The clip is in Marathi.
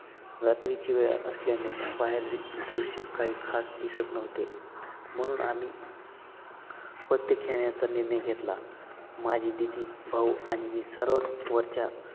रात्रीची वेळ असल्याने बाहेरून दृष्य काही खास दिसतं नव्हते, म्हणून आम्ही पत्ते खेळण्याचा निर्णय घेतला. माझी दीदी, भाऊ आणि मी सर्वात वरच्या